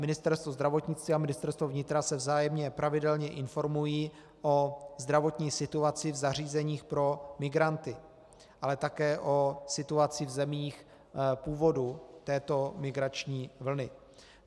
Ministerstvo zdravotnictví a Ministerstvo vnitra se vzájemně pravidelně informují o zdravotní situaci v zařízeních pro migranty, ale také o situaci v zemích původu této migrační vlny.